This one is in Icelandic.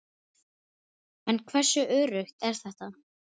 En hversu öruggt er þetta?